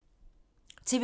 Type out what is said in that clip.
TV 2